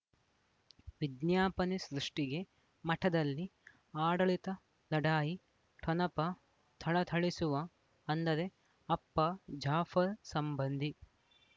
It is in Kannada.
ವಿಜ್ಞಾಪನೆ ಸೃಷ್ಟಿಗೆ ಮಠದಲ್ಲಿ ಆಡಳಿತ ಲಢಾಯಿ ಠೊಣಪ ಥಳಥಳಿಸುವ ಅಂದರೆ ಅಪ್ಪ ಜಾಫರ್ ಸಂಬಂಧಿ